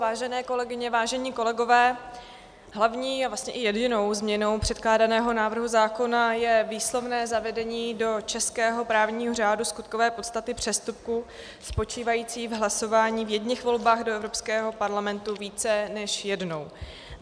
Vážené kolegyně, vážení kolegové, hlavní a vlastně i jedinou změnou předkládaného návrhu zákona je výslovné zavedení do českého právního řádu skutkové podstaty přestupku spočívajícího v hlasování v jedněch volbách do Evropského parlamentu více než jednou.